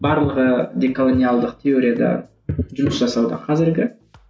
барлығы деколониялдық теорияда жұмыс жасауда қазіргі